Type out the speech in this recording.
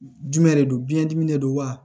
Jumɛn de don biɲɛ dimi de don wa